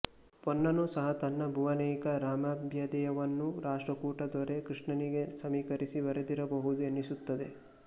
ಪೊನ್ನನು ಸಹ ತನ್ನ ಭುವನೈಕ ರಾಮಭ್ಯದಯವನ್ನು ರಾಷ್ಟ್ರಕೂಟ ದೂರೆ ಕೃಷ್ಣನಿಗೆ ಸಮೀಕರಿಸಿ ಬರೆದಿರಬಹುದು ಎನಿಸುತ್ತದೆ